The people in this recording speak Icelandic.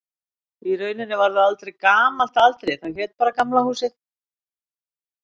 Í rauninni varð það aldrei gamalt að aldri, það hét bara Gamla húsið.